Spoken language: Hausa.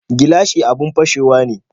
Gilashi abun fashewa ne